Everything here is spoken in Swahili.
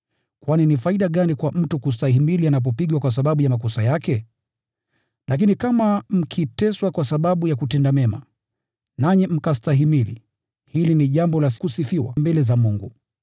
Kwani ni faida gani kwa mtu kustahimili anapopigwa kwa sababu ya makosa yake? Lakini kama mkiteswa kwa sababu ya kutenda mema, nanyi mkastahimili, hili ni jambo la kusifiwa mbele za Mungu.